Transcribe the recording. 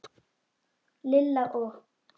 Lilla og